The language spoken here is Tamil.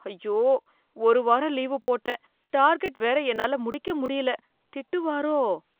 ஐயோ! ஒரு வாரம் லீவு போட்டேன் டார்கெட் வேற என்னால முடிக்க முடியல, திட்டுவாரோ.